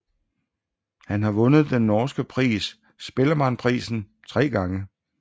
Han har vundet den norske pris Spellemannprisen tre gange